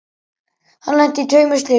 Hann lenti í tveimur slysum.